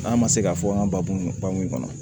N'a ma se k'a fɔ an ka babu bakun kɔnɔ